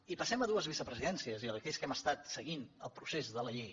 i passem a dues vicepresidències i aquells que hem estat seguint el procés de la llei